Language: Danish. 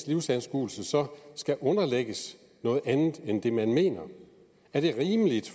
livsanskuelse skal underlægges noget andet end det man mener er det rimeligt